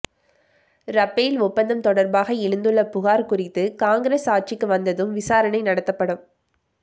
Rafale ஒப்பந்தம் தொடர்பாக எழுந்துள்ள புகார் குறித்து காங்கிரஸ் ஆட்சிக்கு வந்ததும் விசாரணை நடத்தப்படும்